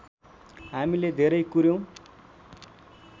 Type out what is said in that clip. हामीले धेरै कुर्यौँ